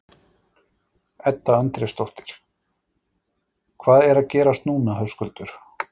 Edda Andrésdóttir: Hvað er að gerast núna Höskuldur?